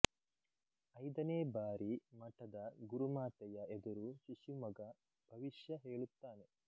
ಐದನೇ ಬಾರಿ ಮಠದ ಗುರುಮಾತೆಯ ಎದುರು ಶಿಶುಮಗ ಭವಿಷ್ಯ ಹೇಳುತ್ತಾನೆ